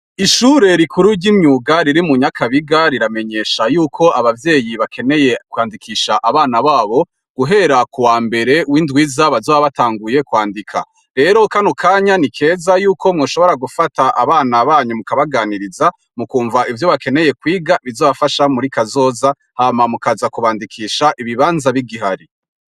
Ishure rikuru ry'imyuga riri mu nyakabiga riramenyesha yuko abavyeyi bakeneye kwandikisha abana babo guhera ku wa mbere w'indwiza bazoba batanguye kwandika rero kano kanya ni keza yuko mwoshobora gufata abana banyu mu kabaganiriza mu kumva ivyo bakeneye kwiga bizabafasha muri kazoza hamamwu kaza kubandikisha ibibanza b'igihari.